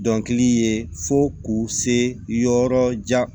Dɔnkili ye fo k'u se yɔrɔ jan